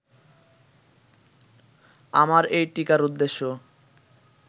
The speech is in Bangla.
আমার এই টীকার উদ্দেশ্য